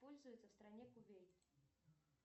пользуются в стране кувейт